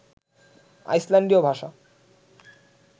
আইসল্যান্ডীয় ভাষা